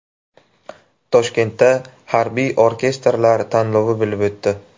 Toshkentda harbiy orkestrlar tanlovi bo‘lib o‘tdi.